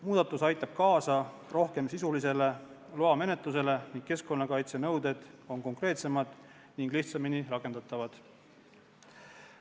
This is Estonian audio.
Muudatus aitab kaasa sisulisemale loamenetlusele ning keskkonnakaitsenõuded on konkreetsemad ja lihtsamini rakendatavad.